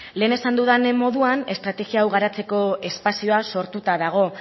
lehen esan dudan moduan estrategia hau garatzeko espazioa sortuta dago